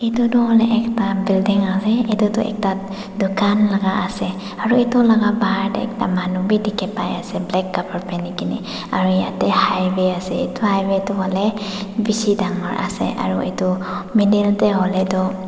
edu toh hoilae ekta building ase edu toh ekta dukan laka ase aro edu laka bahar tae ekta manu bi dikhipaiase black kapra pinikaena aro yatae highway ase edu highway toh hoilae bishi dangor ase aro edu middle tae hoilae tu.